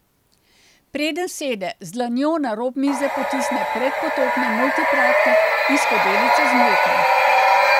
Preden sede, z dlanjo na rob mize potisne predpotopni multipraktik in skodelico z mlekom.